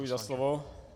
Děkuji za slovo.